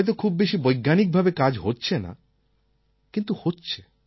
হয়ত খুব বেশি বৈজ্ঞানিকভাবে কাজ হচ্ছে না কিন্তু হচ্ছে